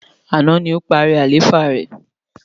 Àná ni ó parí àlééfà rẹ̀.